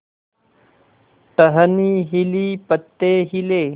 टहनी हिली पत्ते हिले